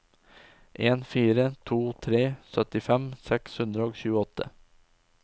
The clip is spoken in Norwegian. en fire to tre syttifem seks hundre og tjueåtte